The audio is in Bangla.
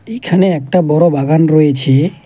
এইখানে একটা বড় বাগান রয়েছে।